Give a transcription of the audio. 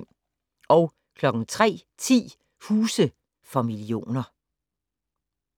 03:10: Huse for millioner